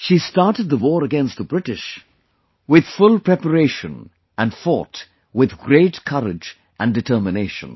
She started the war against the British with full preparation and fought with great courage and determination